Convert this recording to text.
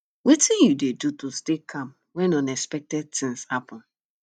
wetin you dey do to stay calm when unexpected things happen